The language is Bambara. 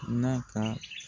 N'a ka